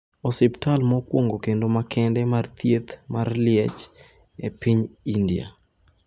Osiptal mokwongo kendo makende mar thieth mar liech e piny India